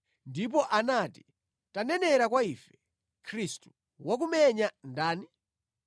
Ndipo anati, “Tanenera kwa ife, Khristu. Wakumenya ndani?”